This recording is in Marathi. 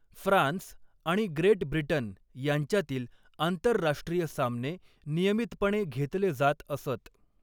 फ्रान्स आणि ग्रेट ब्रिटन यांच्यातील आंतरराष्ट्रीय सामने नियमितपणे घेतले जात असत.